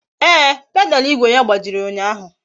Ee, pedalu igwe ya gbajiri ụnyaahụ